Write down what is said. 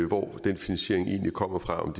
hvor den finansiering egentlig kommer fra og